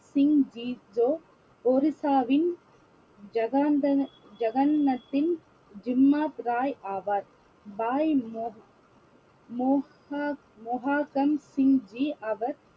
சிங் ஜி ஜோ ஒரிசாவின் ஜகாந்தன~ ஜகன்நத்தின் ஜிம்மாத் ராய் ஆவார் பாய்